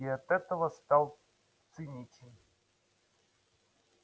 и от этого стал циничен